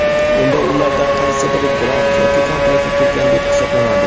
unda ulardan qaysi biri grant yoki kontraktga kirgan deb hisoblanadi?.